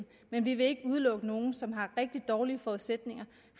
men vi vil ikke udelukke nogen som har rigtig dårlige forudsætninger